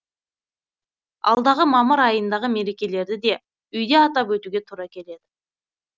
алдағы мамыр айындағы мерекелерді де үйде атап өтуге тура келеді